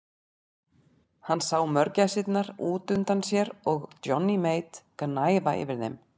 Hann sá mörgæsirnar út undan sér og Johnny Mate gnæfa yfir þeim.